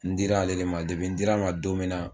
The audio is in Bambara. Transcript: N dira ale de ma n dira ale ma don min na